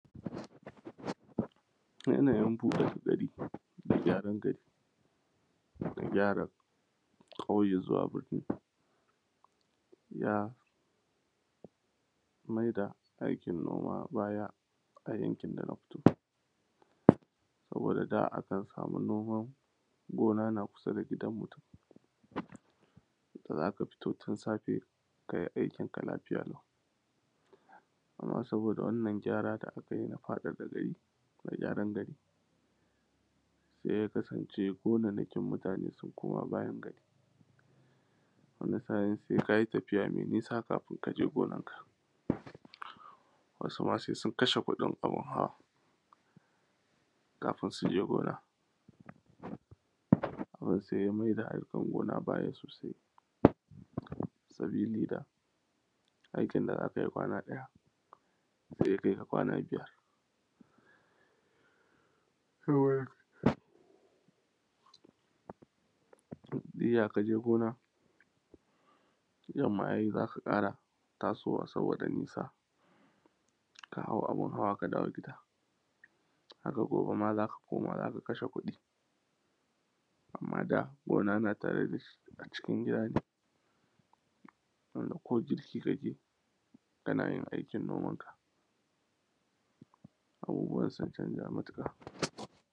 yanayin buɗe gari da gyaran gari da gyara ƙauye zuwa binni ya mai da aikin noma baya a yankin da na fito sabida da akan samu noma gona na kusa da gidan mutum da za a fita tun safe kai aikin ka lafiya lau, amma saboda wannan gyara da aka yi na faɗaɗa gari da aka yi se ya kasance gonannakin mutane sun koma bayan gari wanda yasa se ka yi tafiya me nisa kafin ka je gonanka wasu ma kafin ya je se ya kashe kuɗin abun hawa kafin su je gona to se ya ma yi da harkan noma baya sausai sabida aikin da za kai kwana ɗaya se ya kaika kwana biyu iya ka je kona yamma za su ƙara tasowa sabida nisa kau abun hawa aka dawo gif da haka gobe ma za a koma za a kashe kuɗi amma da gona na tare da shi a cikin gida wanda ko girki ka ke yi kana yin aikin gonanka abubuwa sun janza matuƙa.